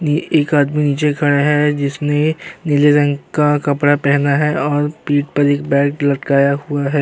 नी एक आदमी नीचे खड़ा है जिसने नीले रंग का कपड़ा पहना है और पीठ पर एक बैग लटकाया हुआ है।